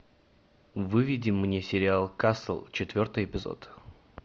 выведи мне сериал касл четвертый эпизод